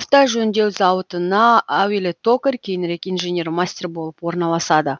автожөндеу зауытына әуелі токарь кейінірек инженер мастер болып орналасады